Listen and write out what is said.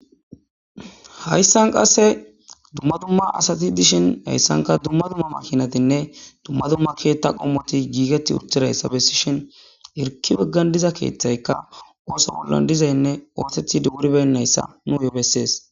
Hayssan qasse dumma dumma asati dishin hayssanka dumma dumma makinatinne dumma dumma keetta qommoti giigeti uttirayssa bessi shhin irki beggan diza keeththayka ooso bollan dizaynne oosethi duguribennayssa nu ye bessees.